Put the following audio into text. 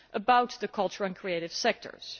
about the cultural and creative sectors.